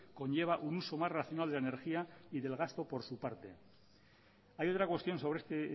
conlleva un uso más racional de energía y del gasto por su parte hay otra cuestión sobre este